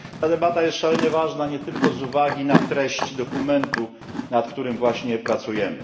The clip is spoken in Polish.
Ta debata jest szalenie ważna nie tylko z uwagi na treść dokumentu, nad którym właśnie pracujemy.